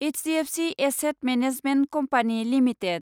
HDFC asset management company limited